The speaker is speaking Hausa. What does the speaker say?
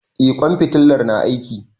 Eh ƙwan fitalar na aiki.